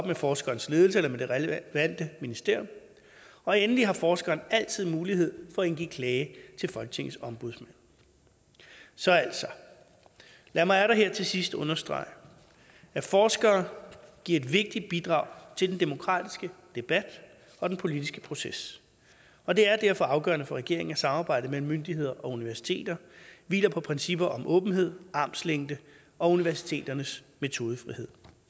med forskerens ledelse eller med det relevante ministerium og endelig har forskeren altid mulighed for at indgive klage til folketingets ombudsmand så lad mig atter her til sidst understrege at forskere giver et vigtigt bidrag til den demokratiske debat og den politiske proces og det er derfor afgørende for regeringen at samarbejdet mellem myndigheder og universiteter hviler på principper om åbenhed armslængde og universiteternes metodefrihed